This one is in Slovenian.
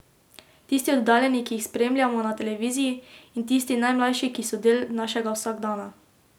Tisti oddaljeni, ki jih spremljamo na televiziji, in tisti najmlajši, ki so del našega vsakdana.